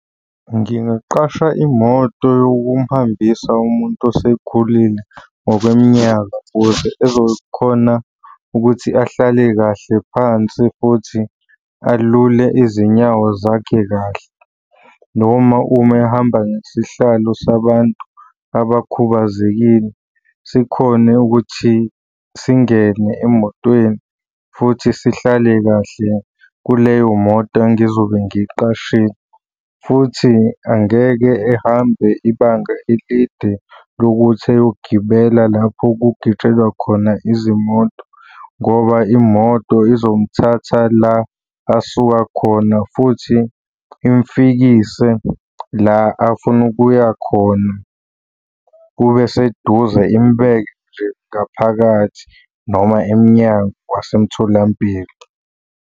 Ngingaqasha imoto yokumhambisa umuntu osekhulile ngokweminyaka ukuze ezokhona ukuthi ahlale kahle phansi futhi alule izinyawo zakhe kahle, noma uma ehamba ngesihlalo sabantu abakhubazekile sikhone ukuthi singene emotweni futhi sihlale kahle kuleyo moto engizobe ngiyiqashile, futhi angeke ehambe ibanga elide lokuthi eyogibela lapho kugitshelwa khona izimoto, ngoba imoto izomthatha la asuka khona futhi imfikise la afuna ukuya khona. Kube seduze imubeke nje ngaphakathi noma emnyango wasemtholampilo.